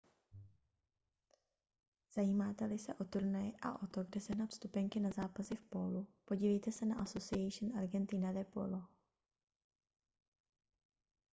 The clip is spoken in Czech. zajímáte-li se o turnaje a o to kde sehnat vstupenky na zápasy v pólu podívejte se na asociacion argentina de polo